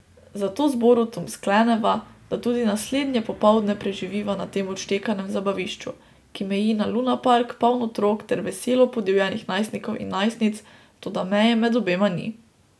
Zato z Borutom skleneva, da tudi naslednje popoldne preživiva na tem odštekanem zabavišču, ki meji na lunapark, poln otrok ter veselo podivjanih najstnikov in najstnic, toda meje med obema ni.